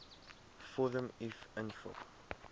vorm uf invul